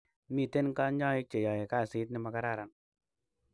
Miten kanyaik che yai kasit nemakararan